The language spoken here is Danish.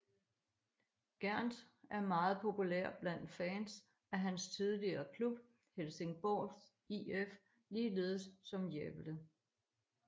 Gerndt er meget populær blandt fans af hans tidligere klub Helsingborgs IF ligeledes som Gävle